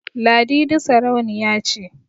Ladidi sarauniya ce